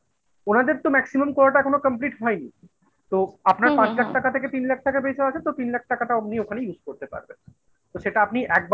ওনাদের তো maximum কোটাটা এখনো complete হয়নি । তো আপনার পঞ্চাশ টাকা থেকে তিন লাখ টাকা বেশি আছে তো তিন লাখ টাকাটা আপনি ওখানে use করতে পারবেন সেটা আপনি একবারে